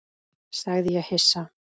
sagði ég hissa.